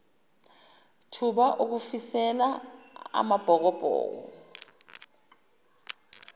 thuba ukufisela amabhokobhoko